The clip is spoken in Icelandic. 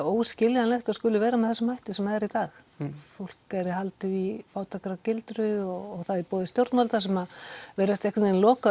óskiljanlegt að skuli vera með þessum hætti sem er í dag fólki er haldið í fátækragildru og það í boði stjórnvalda sem að virðast einhvern veginn loka